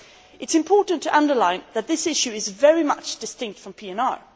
It is important to underline that this issue is very much distinct from PNR.